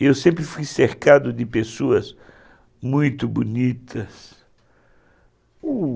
Eu sempre fui cercado de pessoas muito bonitas, u